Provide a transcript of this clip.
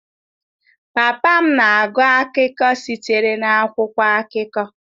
Papa m na-agụ akụkọ sitere n'akwụkwọ akụkọ.